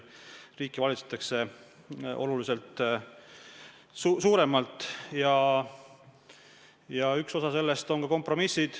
Riiki valitsetakse oluliselt suuremalt ja üks osa sellest on ka kompromissid.